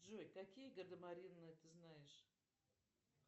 джой какие гардемарины ты знаешь